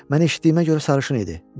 Mən eşitdiyimə görə sarışın idi.